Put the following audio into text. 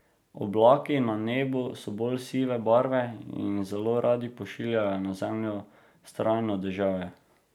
Oblaki na nebu so bolj sive barve in zelo radi pošiljajo na zemljo vztrajno deževje.